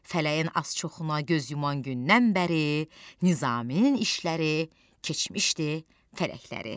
Fələyin az-çoxuna göz yuman gündən bəri Nizamın işləri keçmişdi fələkləri.